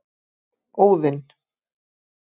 Óðinn